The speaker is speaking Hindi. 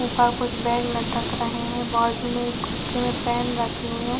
ऊपर कुछ बैग लटक रहे हैं बाजु में एक में पेन रखे हुए --